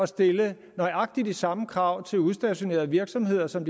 stille nøjagtig de samme krav til udstationerede virksomheder som